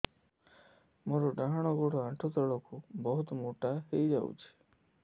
ମୋର ଡାହାଣ ଗୋଡ଼ ଆଣ୍ଠୁ ତଳକୁ ବହୁତ ମୋଟା ହେଇଯାଉଛି